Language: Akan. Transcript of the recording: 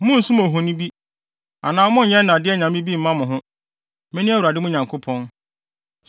“ ‘Monnsom ohoni, anaa monnyɛ nnade anyame bi mma mo ho. Mene Awurade mo Nyankopɔn.